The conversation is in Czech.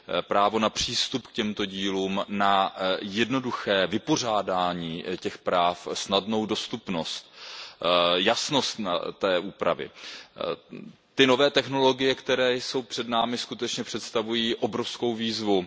Právo na přístup k těmto dílům, na jednoduché vypořádání těch práv, snadnou dostupnost, jasnost té úpravy. Ty nové technologie, které jsou před námi, skutečně představují obrovskou výzvu.